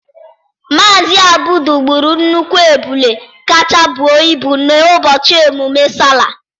Mazị Abdul gburu nnukwu ebule kacha bụọ ịbụ n'ụbọchị emume Sallah.